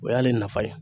O y'ale nafa ye